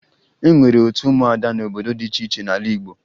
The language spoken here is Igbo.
E nwere otu ụmụada n'obodo dị iche iche n'ala Igbo